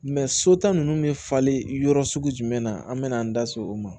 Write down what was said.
so ta nunnu bɛ falen yɔrɔ sugu jumɛn na an mɛna an da se o ma